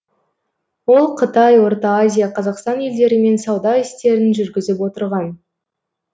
ол қытай орта азия қазақстан елдерімен сауда істерін жүргізіп отырған